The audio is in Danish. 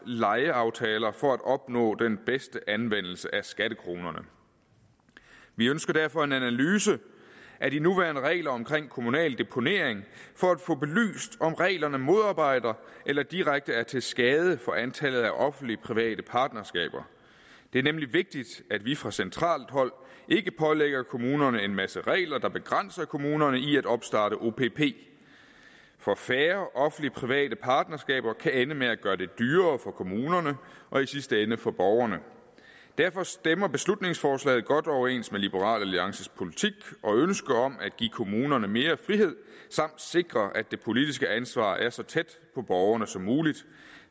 lejeaftaler for at opnå den bedste anvendelse af skattekronerne vi ønsker derfor en analyse af de nuværende regler om kommunal deponering for at få belyst om reglerne modarbejder eller direkte er til skade for antallet af offentlig private partnerskaber det er nemlig vigtigt at vi fra centralt hold ikke pålægger kommunerne en masse regler der begrænser kommunerne i at opstarte opp for færre offentlig private partnerskaber kan ende med at gøre det dyrere for kommunerne og i sidste ende for borgerne derfor stemmer beslutningsforslaget godt overens med liberal alliances politik og ønske om at give kommunerne mere frihed samt at sikre at det politiske ansvar er så tæt på borgerne som muligt